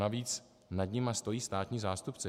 Navíc nad nimi stojí státní zástupce.